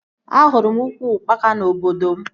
Ahụrụ m ukwu ukpaka na obodo m